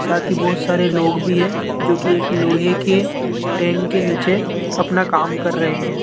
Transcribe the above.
साथी बहुत सारे लोग भी है जो की एक लोहे के टेंट के नीचे अपना काम कर रहे हैं।